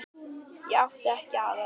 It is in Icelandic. Ég átti ekki aðra.